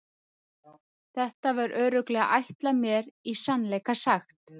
Þetta var örugglega ætlað mér í sannleika sagt.